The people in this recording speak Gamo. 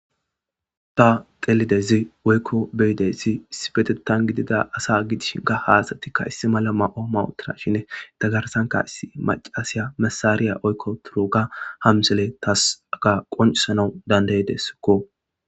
Ta qelidezi woykko beyidessi issi betettan gidida asa gidish ka haasatikka issi mala ma'o mawutra shinne tagarsanka issi macasiya masaariya oykko turuga hamsele tasaga qoncisanau dandaydessikko.